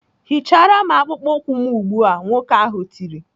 "Hichara m akpụkpọ ụkwụ m ugbu a!" Nwoke ahụ tiri.